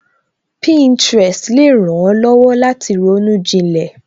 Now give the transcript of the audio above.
Pinterest le ran ó lọ́wọ́ láti ronú jinlẹ